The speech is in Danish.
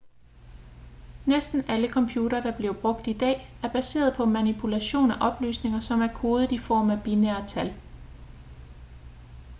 næsten alle computere der bliver brugt i dag er baseret på manipulation af oplysninger som er kodet i form af binære tal